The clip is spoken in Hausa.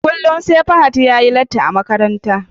Kullum SE Fahad yayi latti a Makaranta